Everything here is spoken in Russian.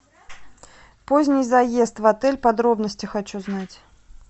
поздний заезд в отель подробности хочу знать